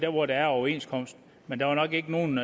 hvor der er overenskomst men der er nok ikke nogen